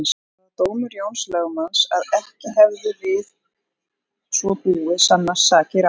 Það var dómur Jóns lögmanns að ekki hefðu við svo búið sannast sakir á